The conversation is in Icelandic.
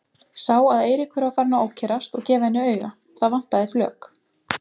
Sá að Eiríkur var farinn að ókyrrast og gefa henni auga, það vantaði flök.